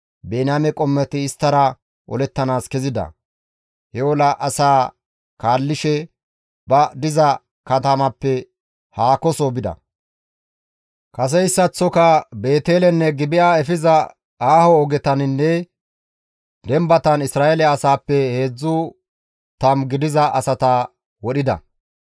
Biniyaame qommoti isttara olettanaas kezida; he ola asaa kaallishe ba diza katamappe haakoso bida; kaseyssaththoka Beetelenne Gibi7a efiza aaho ogetaninne dembatan Isra7eele asaappe 30 gidiza asata wodhida.